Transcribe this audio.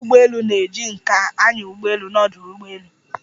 Ókwọ́ ụgbọelu na-eji nká anya ụgbọelu n'ọdu ụgbọelu.